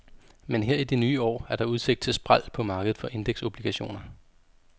Men her i det nye år er der udsigt til spræl på markedet for indeksobligationer.